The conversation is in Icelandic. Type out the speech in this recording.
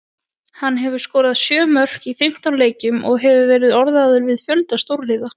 Hann hefur skorað sjö mörk í fimmtán leikjum og hefur verið orðaður við fjölda stórliða.